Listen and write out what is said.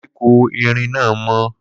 Koríko erin náà mọ́.